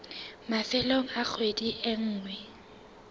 mafelong a kgwedi e nngwe